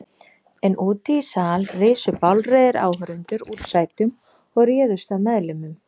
En úti í sal risu bálreiðir áhorfendur úr sætum og réðust að meðlimum